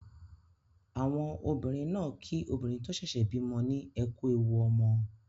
Àwọn obìnrin náà kí obìnrin tó ṣẹ̀ṣẹ̀ bímọ ní "ẹ kú ewu ọmọ".